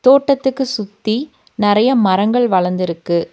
தோட்டத்துக்கு சுத்தி நெறைய மரங்கள் வளர்ந்திருக்கு.